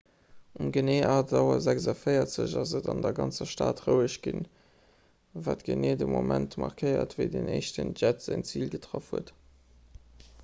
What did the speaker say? um genee 8.46 auer ass et an der ganzer stad roueg ginn wat de geneeë moment markéiert wéi den éischten jett säin zil getraff huet